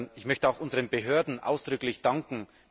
Ich möchte auch unseren Behörden ausdrücklich danken.